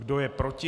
Kdo je proti?